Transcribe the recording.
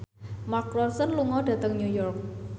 Mark Ronson lunga dhateng York